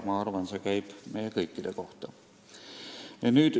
Ma arvan, et see käib meie kõikide kohta.